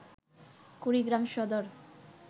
Kurigram Sadar